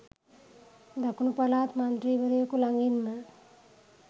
දකුණු පළාත් මන්ත්‍රීවරයකු ළඟින්ම